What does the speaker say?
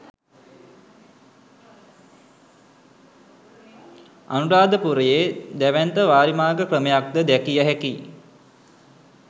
අනුරාධපුරයේ දැවැන්ත වාරිමාර්ග ක්‍රමයක්ද දැකිය හැකියි.